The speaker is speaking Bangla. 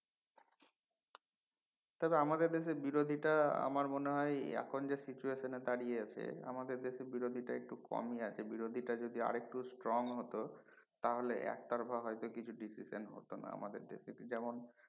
তাতো আমাদের দেশে বিরোধীটা আমার মনে হয় এখন যে situation দাড়িয়ে আছি আমাদের দেশে বিরোধীটা একটু কমি আছে বিরোধীটা যদি আরেকটু strong হত তা হলে এক তরফা হয়তো কিছু decision হত না আমাদের দেশে যেমন